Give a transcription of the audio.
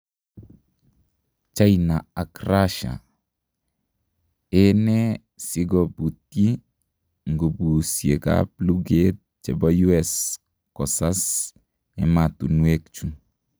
Chaina ak Russia: enee sigo putyii ngupuusiek ap lugeet chepo US kosas ematunwekchu